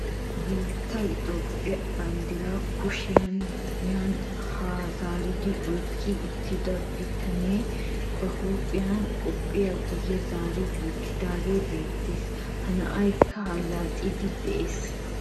Nu biittee itoophphee banddiraa kushiyaan yaanne haa zaaridi oyqqi uttida bitanee ba huuphphiyaan qophiyaa guye zaari wottidagee beettees. ha na'aykka allaxxiidi de'ees.